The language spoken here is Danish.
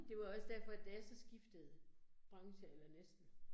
Det var jo også derfor, da jeg så skiftede branche, eller næsten